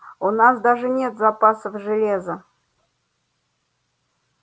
у нас даже нет запасов железа